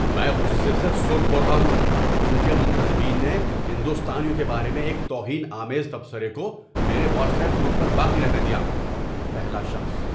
میں غصے سے سرخ ہو رہا ہوں کیونکہ منتظمین نے ہندوستانیوں کے بارے میں ایک توہین آمیز تبصرے کو میرے واٹس ایپ گروپ پر باقی رہنے دیا۔ (پہلا شخص)